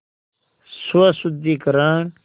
स्वशुद्धिकरण